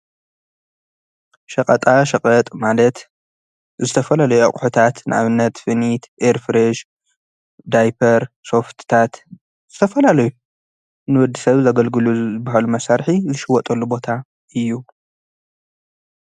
ሸቐጣ ሽቐጥ ማለት ዝተፈላለዩ ኣቝሑታት ንኣብነት ፍኒት፣ ኤርፍሬሽ፣ ዳይጰር፣ ሶፍትታት ዝተፈላለዩ ንወዲ ሰብ ዘገልግሉ ልበሃሉ መሣርሒ ዝሽወጡሉ ቦታ እዩ።